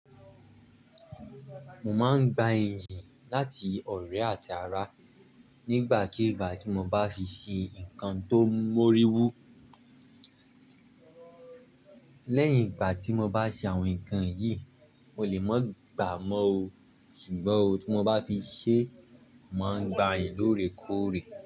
Mo máa ń gba ìyìn láti ọ̀rẹ́ àti ara nígbàkigbà tí mo bá fi se nǹkan tó móríwú. Lẹ́yìn ìgbà tí mo bá ṣe àwọn nǹkan yìí, mo lè má gba mọ́ o, ṣùgbọ́n tí mo bá fi ṣe, màá gba lórèkóòrè.